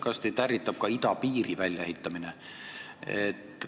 Kas teid ärritab ka idapiiri väljaehitamine?